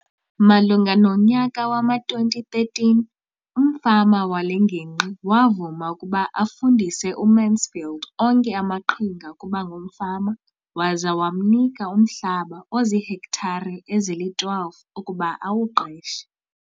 Malunga nonyaka wama-2013, umfama wale ngingqi wavuma ukuba afundise uMansfield onke amaqhinga okuba ngumfama waza wamnika umhlaba ozihektare ezili-12 ukuba awuqeshe.